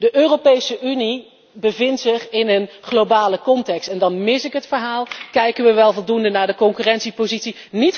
De Europese Unie bevindt zich in een globale context en dan mis ik het verhaal kijken we wel voldoende naar de concurrentiepositie?